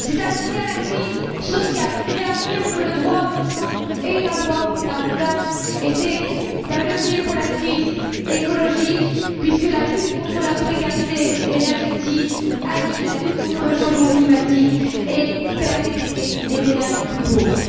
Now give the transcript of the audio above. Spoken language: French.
C'est un levier contre la crise sociale, qui réaffirme que le droit au logement est un droit fondamental, et c'est un levier contre la crise écologique, puisque la lutte contre la précarité énergétique est liée à la lutte contre le changement climatique et permet d'aider les ménages les plus pauvres.